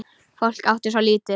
Fólk átti svo lítið.